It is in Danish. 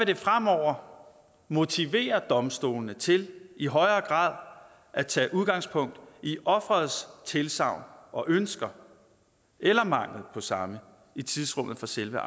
det fremover motivere domstolene til i højere grad at tage udgangspunkt i offerets tilsagn og ønsker eller mangel på samme i tidsrummet for selve